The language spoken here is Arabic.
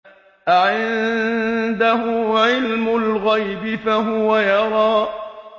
أَعِندَهُ عِلْمُ الْغَيْبِ فَهُوَ يَرَىٰ